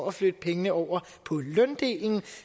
at flytte pengene over på løndelen